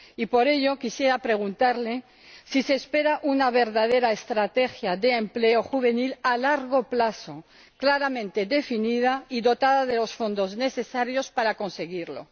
Por ello, quisiera preguntarle si se espera una verdadera estrategia de empleo juvenil a largo plazo claramente definida y dotada de los fondos necesarios para conseguirla.